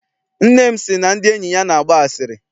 Nne m sị na ndị enyi ya na-agba asịrị.